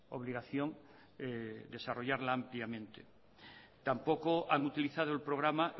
obligación desarrollarla ampliamente tampoco han utilizado el programa